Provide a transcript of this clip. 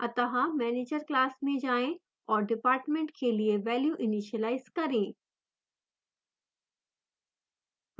अत: manager class में जाएँ और department के लिए value इनीशिलाइज करें